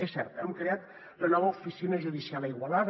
és cert hem creat la nova oficina judicial a igualada